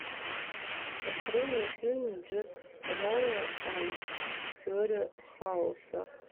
открой мне фильм джек райан теория хаоса